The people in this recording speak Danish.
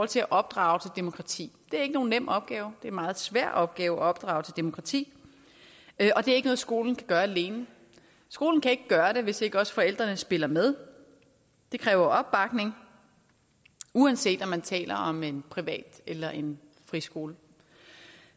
til at opdrage til demokrati det er ikke nogen nem opgave det er en meget svær opgave at opdrage til demokrati og det er ikke noget skolen kan gøre alene skolen kan ikke gøre det hvis ikke også forældrene spiller med det kræver opbakning uanset om man taler om en privat eller en friskole